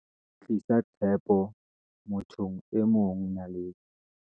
Tlisa tshepo mo thong e mongNaledi